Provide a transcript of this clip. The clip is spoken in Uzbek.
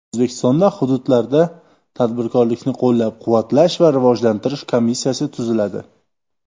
O‘zbekistonda hududlarda tadbirkorlikni qo‘llab-quvvatlash va rivojlantirish komissiyasi tuziladi.